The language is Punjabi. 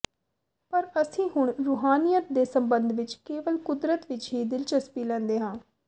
ਪਰ ਅਸੀਂ ਹੁਣ ਰੂਹਾਨੀਅਤ ਦੇ ਸੰਬੰਧ ਵਿਚ ਕੇਵਲ ਕੁਦਰਤ ਵਿਚ ਹੀ ਦਿਲਚਸਪੀ ਲੈਂਦੇ ਹਾਂ